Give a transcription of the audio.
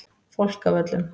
Fálkavöllum